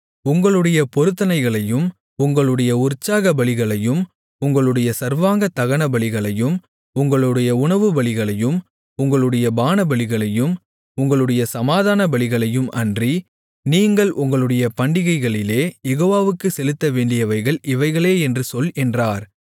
உங்களுடைய பொருத்தனைகளையும் உங்களுடைய உற்சாகபலிகளையும் உங்களுடைய சர்வாங்கதகனபலிகளையும் உங்களுடைய உணவுபலிகளையும் உங்களுடைய பானபலிகளையும் உங்களுடைய சமாதானபலிகளையும் அன்றி நீங்கள் உங்களுடைய பண்டிகைகளிலே யெகோவாவுக்குச் செலுத்தவேண்டியவைகள் இவைகளே என்று சொல் என்றார்